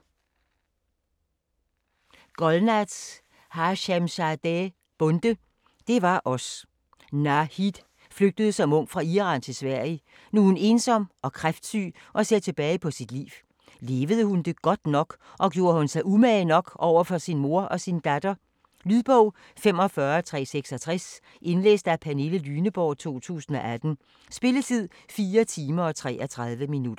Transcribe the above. Bonde, Golnaz Hashemzadeh: Det var os Nahid flygtede som ung fra Iran til Sverige. Nu er hun ensom og kræftsyg og ser tilbage på sit liv. Levede hun det godt nok, og gjorde hun sig umage nok over for sin mor og sin datter? Lydbog 45366 Indlæst af Pernille Lyneborg, 2018. Spilletid: 4 timer, 33 minutter.